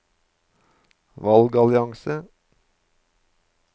valgallianse